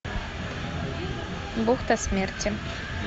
бухта смерти